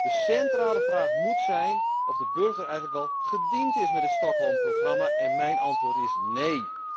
De centrale vraag moet zijn of de burger eigenlijk wel gediend is met het Stockholmprogramma en mijn antwoord is nee.